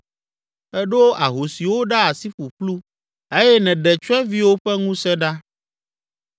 Èɖo ahosiwo ɖa asi ƒuƒlu eye nèɖe tsyɔ̃eviwo ƒe ŋusẽ ɖa.